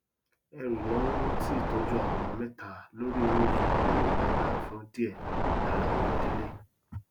ẹrù ináwó ti ìtọjú àwọn ọmọ mẹta lórí owóoṣù kan le lágbára fún díẹ lára àwọn idílé